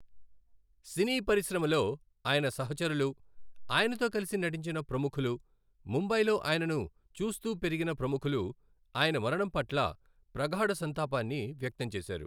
సినీ పరిశ్రమలో ఆయన సహచరులు, ఆయనతో కలిసి నటించిన ప్రముఖులు, ముంబైలో ఆయనను చూస్తూ పెరిగిన ప్రముఖులు ఆయన మరణం పట్ల ప్రగాఢ సంతాపాన్ని వ్యక్తం చేశారు.